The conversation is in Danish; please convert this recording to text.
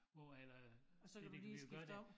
Hvor at øh det det kan vi jo gøre der